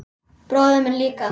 Bróðir minn líka.